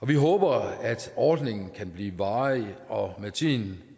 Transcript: vi håber at ordningen kan blive varig og med tiden